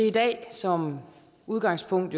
i dag som udgangspunkt